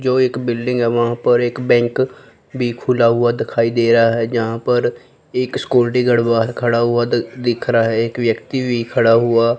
जो एक बिल्डिंग है वहां पर एक बैंक भी खुला हुआ दखाई दे रहा है यहां पर एक सिक्योरिटी गार्ड बाहर खड़ा हुआ दिख रहा है एक व्यक्ति भी खड़ा हुआ--